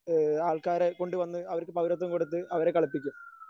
ഏഹ് ആൾക്കാരെ കൊണ്ടുവന്ന് അവർക്ക് പൗരത്വം കൊടുത്ത് അവരെ കളിപ്പിക്കും.